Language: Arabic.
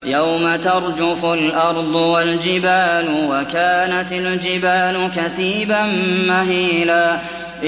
يَوْمَ تَرْجُفُ الْأَرْضُ وَالْجِبَالُ وَكَانَتِ الْجِبَالُ كَثِيبًا مَّهِيلًا